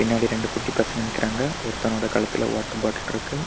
பின்னாடி ரெண்டு குட்டி பசங்க நிக்குறான்க ஒருத்தனோட கழுத்துல வாட்டர் பாட்டில் இருக்கு.